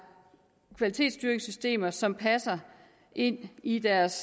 kvalitetsstyringssystemer som passer ind i deres